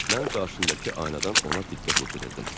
Mən qarşındakı aynadan ona diqqət yetirirdim.